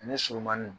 Ani surumani